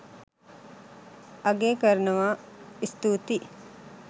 අගය කරනවා ස්තුතියි